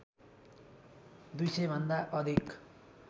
२०० भन्दा अधिक